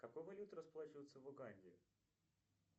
какой валютой расплачиваются в уганде